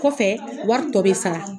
Kɔfɛ wari to bɛ sara